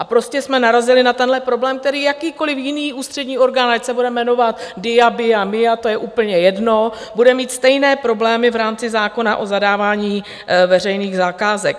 A prostě jsme narazili na tenhle problém, který jakýkoliv jiný ústřední orgán, ať se bude jmenovat DIA, BIA, MIA, to je úplně jedno, bude mít stejné problémy v rámci zákona o zadávání veřejných zakázek.